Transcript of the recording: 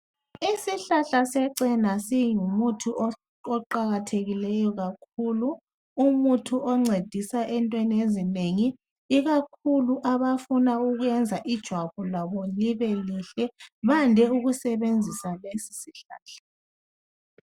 isihlahla secela singumuthi oqhakathekileyo kakhulu umuthi oncedisa entweni ezinengi ikakhulu abafuna ukuyenza ijwabu lwabo libelihle bande ukusebenzisa lesosihlahla